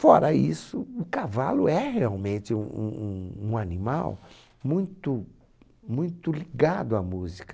Fora isso, o cavalo é realmente um um um um animal muito muito ligado à música.